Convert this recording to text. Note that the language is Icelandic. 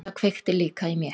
Það kveikti líka í mér.